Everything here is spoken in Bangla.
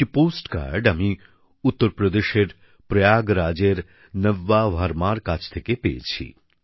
একটি পোস্ট কার্ড আমি উত্তরপ্রদেশের প্রয়াগরাজের নব্যা ভার্মার কাছ থেকে পেয়েছি